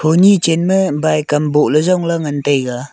kuni chan ma bike kam boh ley jong ley ngan taiga.